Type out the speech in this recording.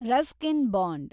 Ruskin bond